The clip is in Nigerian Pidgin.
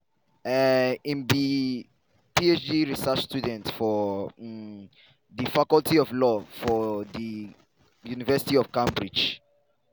um im be phd research student for um di faculty of law for di university of cambridge.